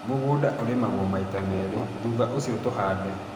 Mũgũnda urĩmagwo maita merĩ thutha ũcio tũhande